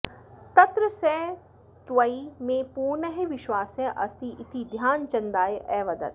तत्र सः त्वयि मे पूर्णः विश्वासः अस्ति इति ध्यानचन्दाय अवदत्